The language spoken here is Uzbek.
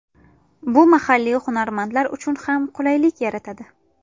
Bu mahalliy hunarmandlar uchun ham qulaylik yaratadi.